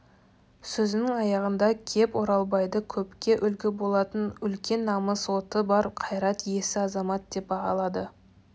сөзінің аяғында кеп оралбайды көпке үлгі болатын үлкен намыс оты бар қайрат иесі азамат деп бағалады